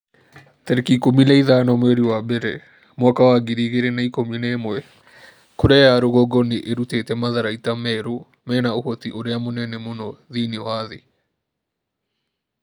tarĩki ikũmi na ithano mweri wa mbere mwaka wa ngiri igĩrĩ na ikũmi na ĩmwe Korea ya rũgongo nĩ ĩrutĩte matharaita merũ mena ũhoti ũrĩa mũnene mũno thĩinĩ wa thĩ.'